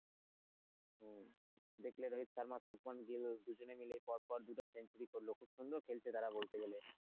হম দেখলে রোহিত শর্মা দুজন মিলে পরপর দুটা century করলো খুব সুন্দর খেলছে তারা বলতে গেলে।